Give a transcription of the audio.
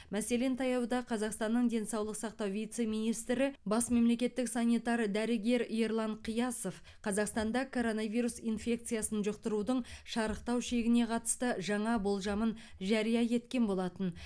мәселен таяуда қазақстанның денсаулық сақтау вице министрі бас мемлекеттік санитар дәрігер ерлан қиясов қазақстанда коронавирус инфекциясын жұқтырудың шарықтау шегіне қатысты жаңа болжамын жария еткен болатын